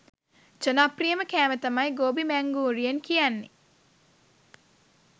ජනප්‍රියම කෑම තමයි ගෝබි මැංඌරියන් කියන්නෙ.